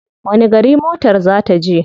Wani gari motar ta za je?